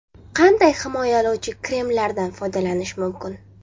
Qanday himoyalovchi kremlardan foydalanish mumkin?